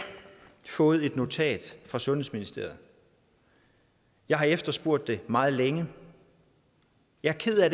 fået et notat fra sundhedsministeriet jeg har efterspurgt det meget længe og jeg er ked af